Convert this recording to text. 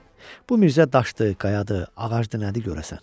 Bu Mirzə daşdı, qayadı, ağacdır, nədir görəsən?